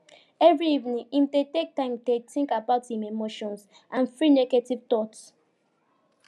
every evening him dey take time dey think about him emotions and free negative thoughts